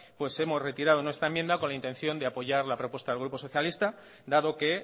hemos retirado nuestra enmienda con la intención de apoyar la propuesta del grupo socialista dado que